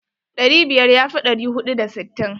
Ɗari biyar ya fi ɗari huɗu da sittin.